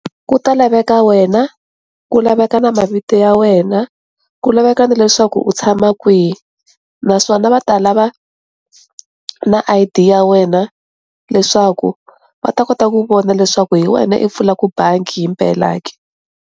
Ku ta laveka wena, ku laveka na mavito ya wena, ku laveka ni leswaku u tshama kwihi naswona va ta lava na I_D ya wena leswaku va ta kota ku vona leswaku hi wena i pfulaku bangi himpela ke.